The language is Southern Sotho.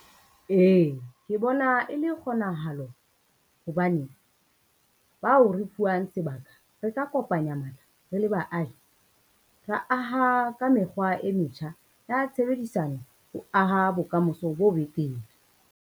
Ee, ke bona e le kgonahalo hobane, bao re fuwang sebaka re ka kopanya matla, re le baahi, ra aha ka mekgwa e metjha ya tshebedisano ho aha bokamoso bo betere.